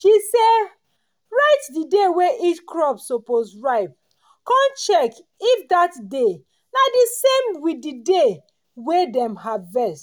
she sey write day wey each crop suppose ripe con check if that day na di same with day wey dem harvest.